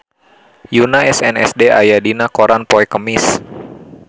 Yoona SNSD aya dina koran poe Kemis